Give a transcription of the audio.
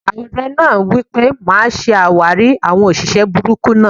Ààrẹ náà wipe: "Máa ṣe àwárí àwọn òṣìṣẹ́ burúkú náà!"